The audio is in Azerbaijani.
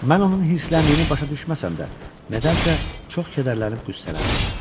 Mən onun hirsləndiyini başa düşməsəm də, nədənsə çox kədərlənib qüssələndim.